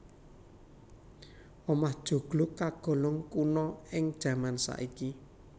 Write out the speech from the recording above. Omah joglo kagolong kuna ing jaman saiki